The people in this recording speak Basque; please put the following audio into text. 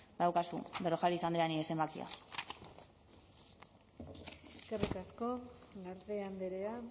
badaukazue berrojalbiz andrea nire zenbakia eskerrik asko garde andrea